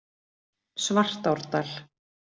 Svartárdal